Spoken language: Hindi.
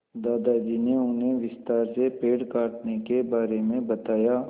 दादाजी ने उन्हें विस्तार से पेड़ काटने के बारे में बताया